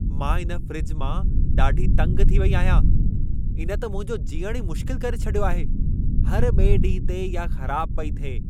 मां इन फ़्रिज मां ॾाढो तंग थी वेई आहियां। इन त मुंहिंजो जीअणु ही मुश्किल करे छॾियो आहे। हर ॿिएं ॾींहं ते इहा ख़राब पई थिए।